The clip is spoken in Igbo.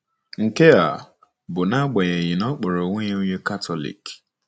Nke a bụ n’agbanyeghị na ọ kpọrọ onwe ya onye Katọlik.